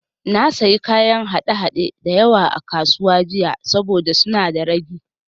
Na sayi kayan haɗe-haɗe da yawa a kasuwa jiya saboda suna da ragi